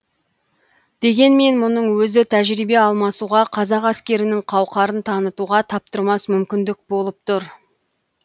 дегенмен мұның өзі тәжірибе алмасуға қазақ әскерінің қауқарын танытуға таптырмас мүмкіндік болып тұр